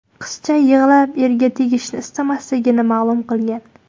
Qizcha yig‘lab, erga tegishni istamasligini ma’lum qilgan.